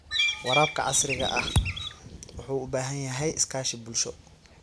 Waraabka casriga ahi wuxuu u baahan yahay iskaashi bulsho.